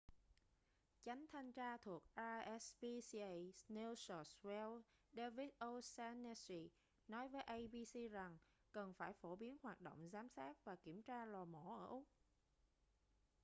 chánh thanh tra thuộc rspca new south wales david o'shannessy nói với abc rằng cần phải phổ biến hoạt động giám sát và kiểm tra lò mổ ở úc